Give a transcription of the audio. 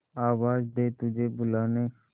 आवाज दे तुझे बुलाने